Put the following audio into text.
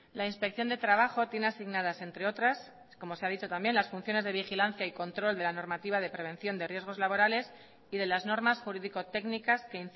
la inspección de trabajo tiene asignadas entre otras como se ha dicho también las funciones de vigilancia y control de la normativa de prevención de riesgos laborales y de las normas jurídico técnicas que